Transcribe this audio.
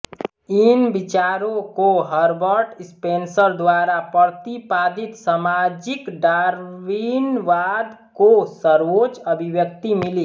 इन विचारों को Herbert Spencer द्वारा प्रतिपादित सामाजिक डार्विनवाद को सर्वोच्च अभिव्यक्ति मिली